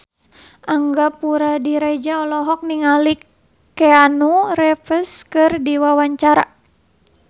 Angga Puradiredja olohok ningali Keanu Reeves keur diwawancara